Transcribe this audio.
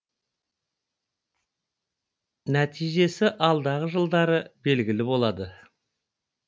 нәтижесі алдағы жылдары белгілі болады